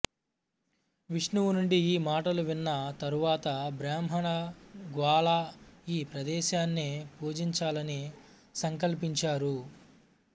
విష్ణువు నుండి ఈ మాటలు విన్న తరువాత బ్రాహ్మణ గ్వాలా ఈ ప్రదేశాన్ని పూజించాలని సంకల్పించారు